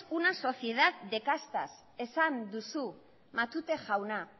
una sociedad de castas esan duzu matute jauna